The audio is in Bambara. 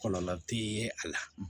Kɔlɔlɔ tɛ a la